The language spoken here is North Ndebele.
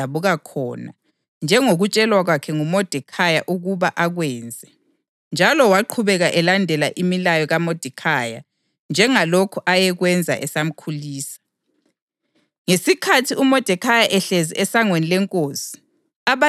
U-Esta wayekwenze kwaba yimfihlo okwemuli yakhe lalapho adabuka khona njengokutshelwa kwakhe nguModekhayi ukuba akwenze, njalo waqhubeka elandela imilayo kaModekhayi njengalokhu ayekwenza esamkhulisa.